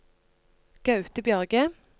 Gaute Bjørge